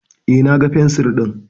Eh, na ga fensir din